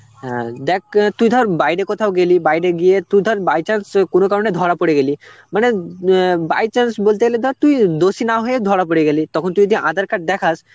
হ্যাঁ, দেখ, তুই ধর বাইরে কোথাও গেলি বাইরে গিয়ে তুই ধর by chance কোন কারনে ধরা পরে গেলি, মানে অ্যাঁ by chance বলতে গেলে ধর তুই দোষী না হয়ে ধরা পড়ে গেলি, তখন তুই যদি aadhar card দেখাস